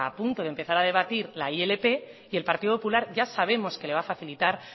punto de empezar a debatir la ilp y el partido popular ya sabemos que le va a facilitar